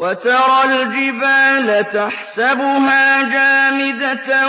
وَتَرَى الْجِبَالَ تَحْسَبُهَا جَامِدَةً